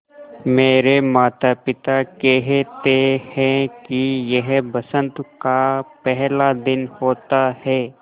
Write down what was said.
मेरे माता पिता केहेते है कि यह बसंत का पेहला दिन होता हैँ